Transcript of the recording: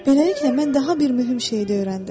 Beləliklə mən daha bir mühüm şeyi də öyrəndim.